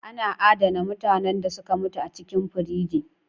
Ana adana mutanen da suka mutu a cikin frige